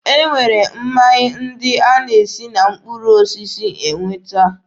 E nwere mmanya ndị e si na mkpụrụ osisi enweta.